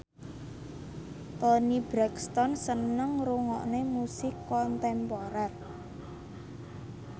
Toni Brexton seneng ngrungokne musik kontemporer